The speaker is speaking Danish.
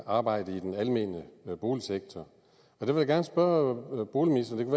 arbejdet i den almene boligsektor og det vil jeg gerne spørge boligministeren